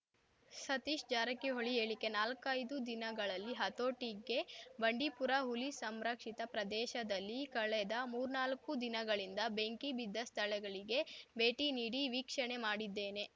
ಸತೀಶ್‌ ಜಾರಕಿಹೊಳಿ ಹೇಳಿಕೆ ನಾಲ್ಕೈದು ದಿನಗಳಲ್ಲಿ ಹತೋಟಿಗೆ ಬಂಡೀಪುರ ಹುಲಿ ಸಂರಕ್ಷಿತ ಪ್ರದೇಶದಲ್ಲಿ ಕಳೆದ ಮೂರ್ನಾಲ್ಕು ದಿನಗಳಿಂದ ಬೆಂಕಿ ಬಿದ್ದ ಸ್ಧಳಗಳಿಗೆ ಭೇಟಿ ನೀಡಿ ವೀಕ್ಷಣೆ ಮಾಡಿದ್ದೇನೆ